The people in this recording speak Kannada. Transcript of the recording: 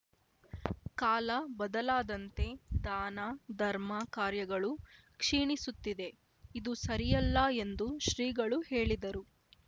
ಕಾಲ ಬದಲಾದಂತೆ ದಾನ ಧರ್ಮ ಕಾರ್ಯಗಳು ಕ್ಷೀಣಿಸುತ್ತಿದೆ ಇದು ಸರಿಯಲ್ಲ ಎಂದು ಶ್ರೀಗಳು ಹೇಳಿದರು